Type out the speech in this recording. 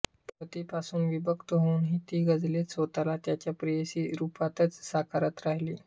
पतीपासून विभक्त होऊनही ती गझलेत स्वतःला त्याच्या प्रेयसी रूपातच साकारत राहिली